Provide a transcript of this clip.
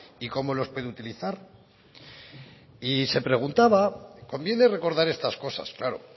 y cómo los puede utilizar y se preguntaba conviene recordar estas cosas claro